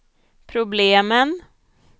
problemen